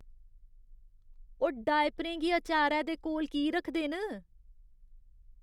ओह् डायपरें गी अचारै दे कोल की रखदे न?